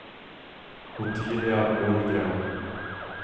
Ottilia Lundgren